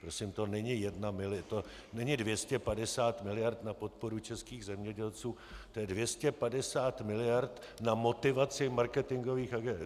Prosím, to není 250 milionů na podporu českých zemědělců, to je 250 milionů na motivaci píárových a marketingových agentur.